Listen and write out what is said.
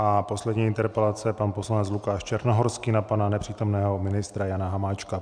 A poslední interpelace - pan poslanec Lukáš Černohorský na pana nepřítomného ministra Jana Hamáčka.